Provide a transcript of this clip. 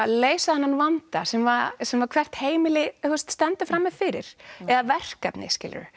leysa þennan vanda sem sem hvert heimili stendur frammi fyrir eða verkefni